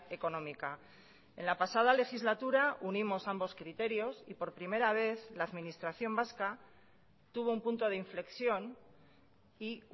económica en la pasada legislatura unimos ambos criterios y por primera vez la administración vasca tuvo un punto de inflexión y